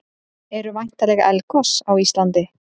Eru væntanleg eldgos á Íslandi?